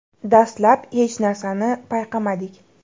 Dastlab hech narsani payqamadik.